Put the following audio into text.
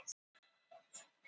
Notar þú snyrtivörur